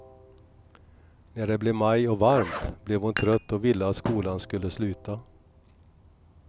När det blev maj och varmt, blev hon trött och ville att skolan skulle sluta.